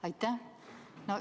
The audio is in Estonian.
Aitäh!